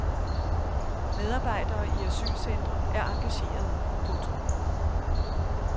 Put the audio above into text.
Medarbejdere i asylcentre er engagerede. punktum